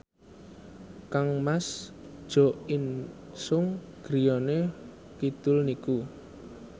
kangmas Jo In Sung griyane kidul niku